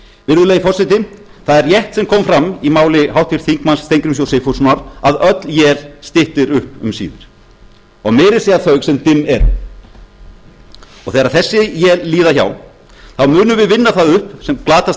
virðulegi forseti það er rétt sem kom fram í máli háttvirts þingmanns steingríms j sigfússonar að öll él styttir upp um síðir og meira að segja þau sem dimm eru þegar þessi él líða hjá munum við vinna það upp sem glatast